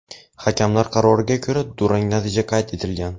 hakamlar qaroriga ko‘ra durang natija qayd etilgan.